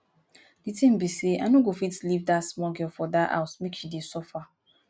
the thing be say i no go fit leave dat small girl for dat house make she dey suffer